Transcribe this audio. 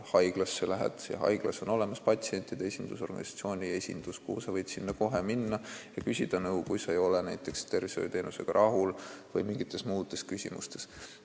Seal on haiglas olemas patsientide esindusorganisatsiooni esindus, kuhu võib kohe minna ja küsida nõu, kui sa ei ole näiteks tervishoiuteenusega rahul või sul on mingid muud küsimused.